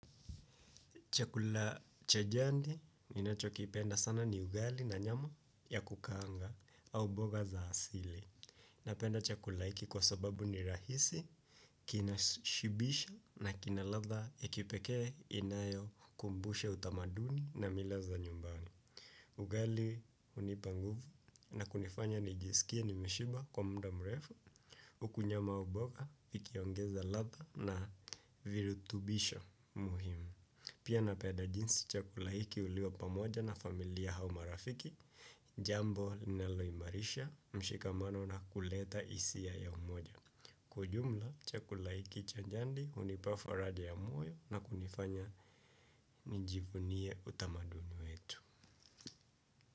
Chakula cha jandi, ninachokipenda sana ni ugali na nyama ya kukaanga au boga za asili. Napenda chakula hiki kwa sababu ni rahisi, kinashibisha na kina ladha ya kipekee inayokumbusha utamaduni na mila za nyumbani. Ugali unipa nguvu na kunifanya nijisikie nimeshiba kwa muda mrefu, huku nyama ya boga, vikiongeza latha na virutubisha muhimu. Pia napenda jinsi chakula hiki huliwa pamoja na familia au marafiki, jambo linaloimarisha, mshikamano na kuleta hisia ya umoja. Kwa ujumla, chakula hiki cha jandi hunipa faraja ya moyo na kunifanya nijivunie utamaduni wetu.